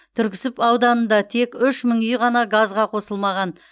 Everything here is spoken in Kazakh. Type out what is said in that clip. түрксіб ауданында тек үш мың үй ғана газға қосылмаған